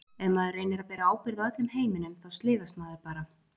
Ef maður reynir að bera ábyrgð á öllum heiminum þá sligast maður bara.